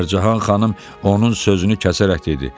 Fərcahan xanım onun sözünü kəsərək dedi: